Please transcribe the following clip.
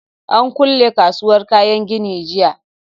An kule kasuwar kayan gini jiya